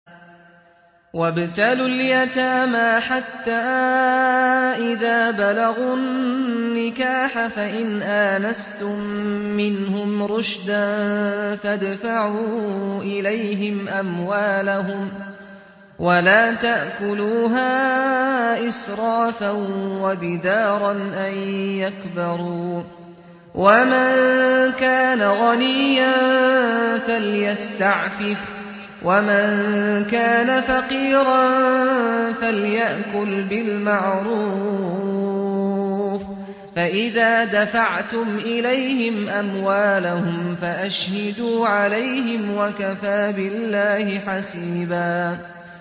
وَابْتَلُوا الْيَتَامَىٰ حَتَّىٰ إِذَا بَلَغُوا النِّكَاحَ فَإِنْ آنَسْتُم مِّنْهُمْ رُشْدًا فَادْفَعُوا إِلَيْهِمْ أَمْوَالَهُمْ ۖ وَلَا تَأْكُلُوهَا إِسْرَافًا وَبِدَارًا أَن يَكْبَرُوا ۚ وَمَن كَانَ غَنِيًّا فَلْيَسْتَعْفِفْ ۖ وَمَن كَانَ فَقِيرًا فَلْيَأْكُلْ بِالْمَعْرُوفِ ۚ فَإِذَا دَفَعْتُمْ إِلَيْهِمْ أَمْوَالَهُمْ فَأَشْهِدُوا عَلَيْهِمْ ۚ وَكَفَىٰ بِاللَّهِ حَسِيبًا